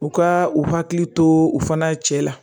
U ka u hakili to u fana cɛ la